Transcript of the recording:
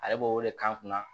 Ale b'o wele k'an kunna